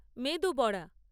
মেদু বড়া